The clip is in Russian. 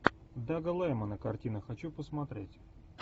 дага лаймана картина хочу посмотреть